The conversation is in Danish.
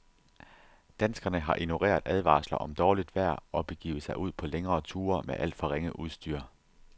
Danskerne har ignoreret advarsler om dårligt vejr og begivet sig ud på længere ture med alt for ringe udstyr.